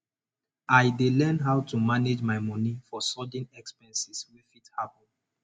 i dey learn how to manage my money for sudden expenses wey fit happen